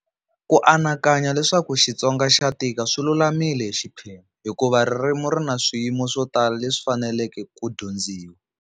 Ku anakanya leswaku Xitsonga xa tika swi lulamile hikuva ririmi ri na swiyimo swo tala leswi faneleke ku dyondziwa.